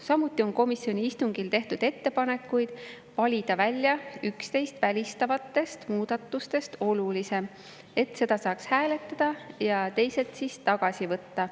Samuti on komisjoni istungil tehtud ettepanekuid valida välja üksteist välistavatest muudatustest olulisem, et seda saaks hääletada ja teised siis tagasi võtta.